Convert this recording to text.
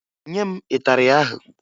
Nye m ịtarị ahụ!